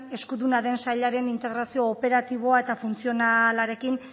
eskuduna den sailaren integrazio operatiboa eta funtzionalarekin